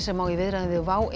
sem á í viðræðum við WOW